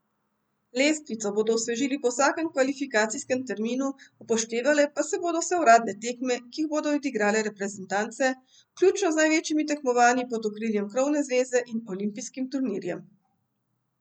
Lestvico bodo osvežili po vsakem kvalifikacijskem terminu, upoštevale pa se bodo vse uradne tekme, ki jih bodo odigrale reprezentance, vključno z največjimi tekmovanji pod okriljem krovne zveze in olimpijskim turnirjem.